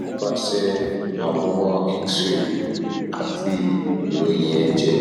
nipase aworan x ray ati iroyin eje